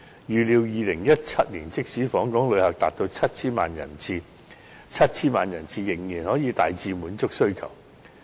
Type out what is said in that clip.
預料2017年即使訪港旅客達到 7,000 萬人次，仍可大致滿足需求。